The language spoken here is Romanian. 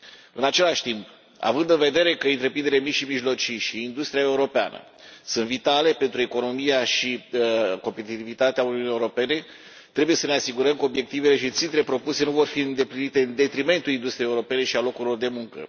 În același timp, având în vedere că întreprinderile mici și mijlocii și industria europeană sunt vitale pentru economia și competitivitatea Uniunii Europene, trebuie să ne asigurăm că obiectivele și țintele propuse nu vor fi îndeplinite în detrimentul industriei europene și al locurilor de muncă.